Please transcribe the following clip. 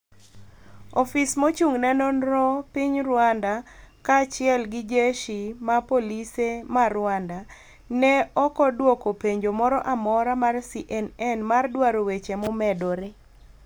ofis ma ochung ne nonro piny Rwanda ka chiel gi jeshi ma polise ma Rwanda. ne okodwoko penjo moro amora mar CNN mar dwaro weche momedore.